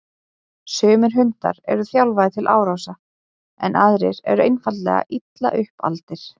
Sumir hundar eru þjálfaðir til árása en aðrir eru einfaldlega illa upp aldir.